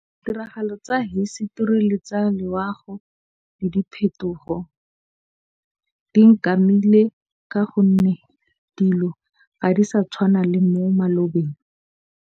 Ditiragalo tsa hisetori le tsa loago le diphetogo di nkamile. Ka gonne dilo ga di sa tshwana le mo malobeng.